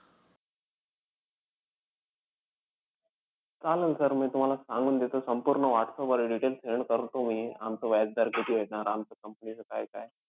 चालेल sir मी तुम्हाला सांगून देतो. संपूर्ण whatsapp वर details send करतो मी. आमचा व्याजदर किती आहे, आमचं company चं काय-काय.